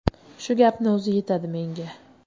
Shu gapni o‘zi yetadi menga.